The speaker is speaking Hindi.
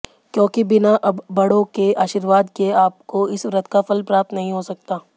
क्योंकि बिना बड़ो के आर्शीवाद के आपको इस व्रत का फल प्राप्त नहीं हो सकता